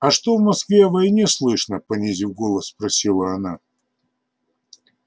а что в москве о войне слышно понизив голос спросила она